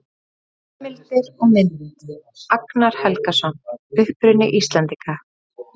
Heimildir og mynd: Agnar Helgason: Uppruni Íslendinga.